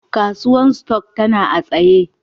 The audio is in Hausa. Kasuwan stock tana a'tsaye.